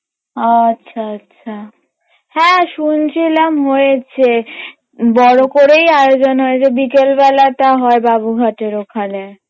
আচ্ছা আচ্ছা হ্যাঁ শুনছিলাম হয়েছে বড় করেই আয়োজন হয়েছে বিকেলবেলাটা হয় বাবুঘাটের ওখানে